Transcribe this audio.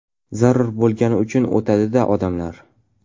Zarur bo‘lgani uchun o‘tadi-da odamlar.